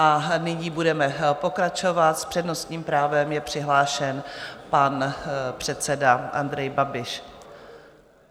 A nyní budeme pokračovat, s přednostním právem je přihlášen pan předseda Andrej Babiš.